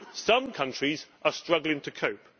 Some countries are struggling to cope.